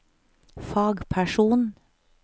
fagperson